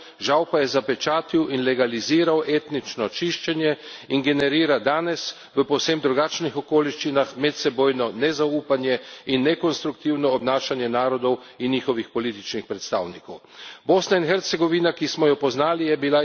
Zbral je akterje balkanskih vojn in spopadov, žal pa je zapečatil in legaliziral etnično čiščenje in generira danes, v povsem drugačnih okoliščinah, medsebojno nezaupanje in nekonstruktivno obnašanje narodov in njihovih političnih predstavnikov.